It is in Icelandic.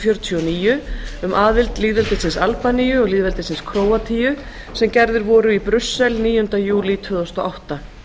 fjörutíu og níu um aðild lýðveldisins albaníu og lýðveldisins króatíu sem gerðir voru í brussel níunda júlí tvö þúsund og átta